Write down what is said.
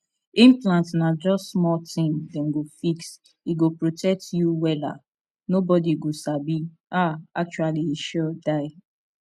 implant na just small thing dem go fix e go protect you wela nobody go sabi ah actually e sure die